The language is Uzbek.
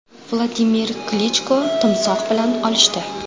Vladimir Klichko timsoh bilan olishdi .